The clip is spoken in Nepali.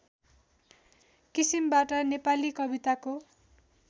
किसिमबाट नेपाली कविताको